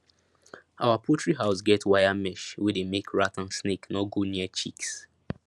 our poultry house get wire mesh wey dey make rat and snake no go near chicks